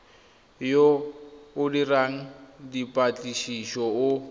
yo o dirang dipatlisiso o